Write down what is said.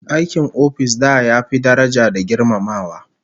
Aikin office da ya fi daraja da girmamawa